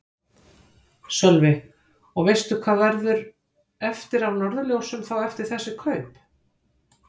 Sölvi: Og veistu hvað verður eftir af Norðurljósum þá eftir þessi kaup?